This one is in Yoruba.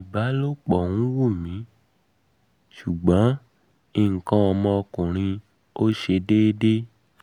ibalopọ wun mi ṣugbọn ikan ọmọ ọkunrin mi o ṣe dede